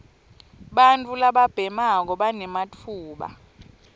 bantfu lababhemako banematfuba